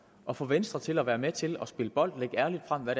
at få venstre til at være med til at spille bold og lægge ærligt frem hvad